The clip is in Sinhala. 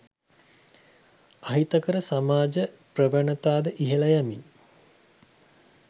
අහිතකර සමාජ ප්‍රවණතාද ඉහළ යමින්